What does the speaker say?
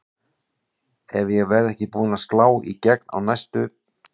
Ef ég verð ekki búin að slá í gegn á næstu